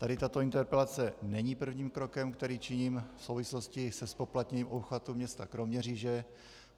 Tady tato interpelace není prvním krokem, který činím v souvislosti se zpoplatněním obchvatu města Kroměříže.